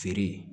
Feere